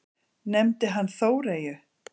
Nefndi hann Þóreyju?